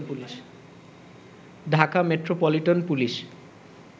Dhaka metropolitan police